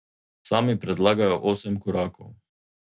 Sami predlagajo osem korakov.